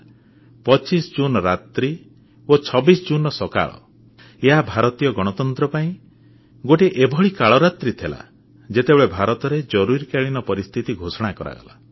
25 June ରାତ୍ରି ଓ 26 ଜୁନର ସକାଳ ଏହା ଭାରତୀୟ ଗଣତନ୍ତ୍ର ପାଇଁ ଗୋଟିଏ ଏଭଳି କାଳ ରାତ୍ରୀ ଥିଲା ଯେତେବେଳେ ଭାରତରେ ଜରୁରୀକାଳୀନ ପରିସ୍ଥିତି ଘୋଷଣା କରାଗଲା